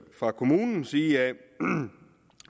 fra kommunens side